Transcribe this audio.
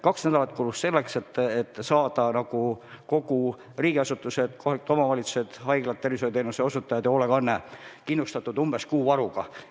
Kaks nädalat kulus selleks, et saada riigiasutused, kohalikud omavalitsused, haiglad ja muude tervishoiuteenuste osutajad, samuti hoolekanne kindlustatud umbes kuu varuga.